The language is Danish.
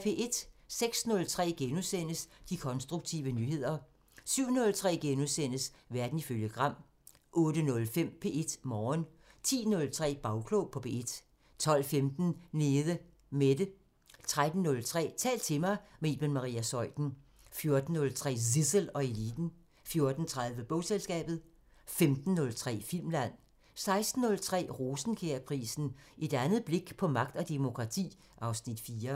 06:03: De konstruktive nyheder * 07:03: Verden ifølge Gram * 08:05: P1 Morgen 10:03: Bagklog på P1 12:15: Nede Mette 13:03: Tal til mig – med Iben Maria Zeuthen 14:03: Zissel og Eliten 14:30: Bogselskabet 15:03: Filmland 16:03: Rosenkjærprisen: Et andet blik på magt og demokrati (Afs. 4)